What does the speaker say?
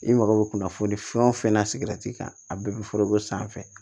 I mago bɛ kunnafoni fɛn o fɛn na a bɛɛ bɛ san fɛ